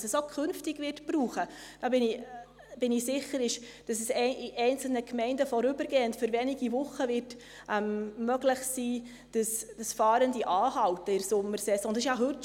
Was es künftig auch brauchen wird – da bin ich mir sicher – ist, dass es in einzelnen Gemeinden vorübergehend, für wenige Wochen, möglich ist, dass Fahrende in der Sommersaison Halt machen.